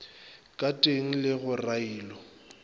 ka teng le go railo